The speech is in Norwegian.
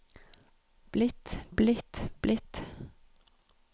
blitt blitt blitt